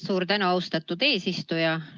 Suur tänu, austatud eesistuja!